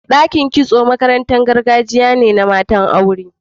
Dakin kitso makarantar gargajiya ce ta mata/aure